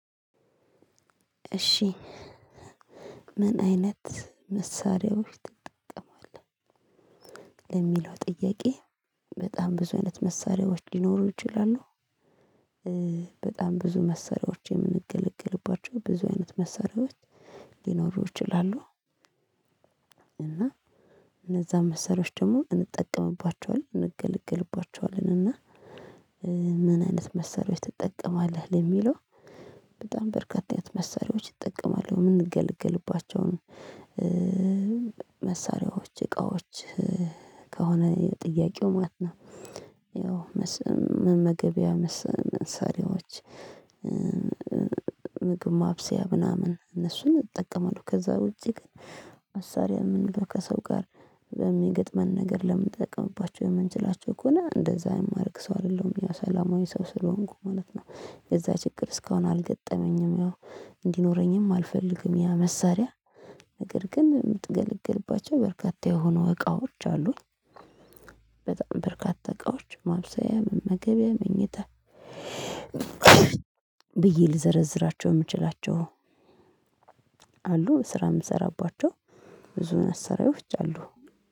እሺ ምን አይነት መሳሪያዎች ትጠቀማለህ? ለሚለው ጥያቄ በጣም ብዙ አይነት መሳሪያዎች ሊኖሩ ይችላሉ። በጣም ብዙ መሳሪያዎችን የምንገለግልባቸው ብዙ አይነት መሳሪያዎች ሊኖሩ ይችላሉ። እና እነዛ መሰሪያዎች ደግሞ እንጠቀምባቸዋለን፤ እንገለግልባቸዋለን እና ምን አይነት መሳሪያዎች ትጠቀማለህ? ለሚለው በጣም በርካታ አይነት መሳሪያዎች እጠቀማለሁ የምንገለግልባቸውን መሳሪያዎች እቃዎች ከሆነ የጥያቄው ማለት ነው። መመገቢያ መሳሪያዎች ምግብ ማብሰያ ምናምን እነሱን እጠቀማለሁ። ከዛ ውጪ ግን መሳሪያ የምንለው ከሰው ጋር በሚገጥመን ነገር ለምንጠቀምባቸው የምንችላቸው ከሆነ እንደዛ የማደርግ ሰው አይደለም። ያው ሰላማዊ ሰው ስለሆንኩ ማለት ነው። የዛ ችግር እስካሁን አልገጠመኝም ያው እንዲኖረኝም አልፈልግም ያ መሳሪያ ነገር ግን የምገለግልባቸው በርካታ የሆኑ እቃዎች አሉኝ። በጣም በርካታ እቃዎች ማብሰያ፤ መመገቢያ፤ መኝታ ብዬ ልዘረዝራቸው የምችላቸው አሉ ስራ የምሰራባቸው፤ ብዙ መሳሪያዎች አሉ